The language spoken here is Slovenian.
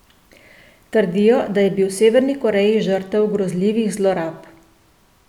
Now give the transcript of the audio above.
Trdijo, da je bil v Severni Koreji žrtev grozljivih zlorab.